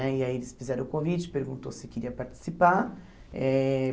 Né e aí eles fizeram o convite, perguntou se queria participar eh.